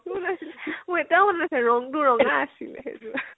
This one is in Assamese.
আছিলে, মোৰ এতিয়াও মনত আছে ৰং তো ৰঙা আছিলে, সেইযোৰ